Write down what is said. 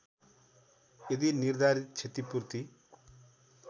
यदि निर्धारित क्षतिपूर्ति